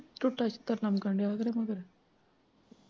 ਟੁੱਟਾ-ਟੁੱਟਾ ਕੰਮ ਕਰ ਲਿਆ ਕਰੋ ਨਾ ਘਰੇ